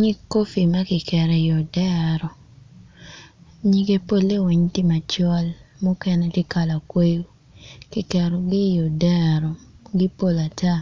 Nyig kopi ma kiketo i odero nyige polle weng tye macol mukene tye kala kweyo kiketogi i odero gipol ata